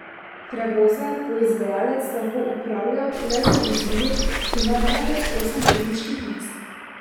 Prevoze bo izvajalec lahko upravljal le z vozili, ki imajo največ osem potniških mest.